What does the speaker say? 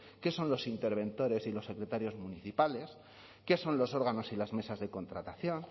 qué son los interventores y los secretarios municipales qué son los órganos y las mesas de contratación